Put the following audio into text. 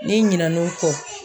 N'i ɲinɛ n'o kɔ.